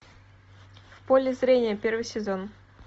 в поле зрения первый сезон